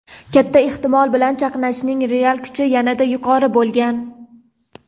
katta ehtimol bilan chaqnashning real kuchi yanada yuqori bo‘lgan.